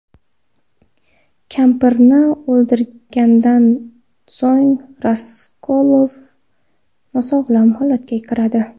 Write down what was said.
Kampirni o‘ldirgandan so‘ng Raskolnikov nosog‘lom holatga kiradi.